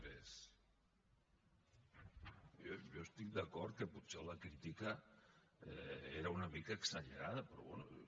jo estic d’acord que potser la crítica era una mica exagerada però bé